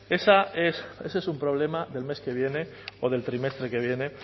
ese es un problema del mes que viene o del trimestre que viene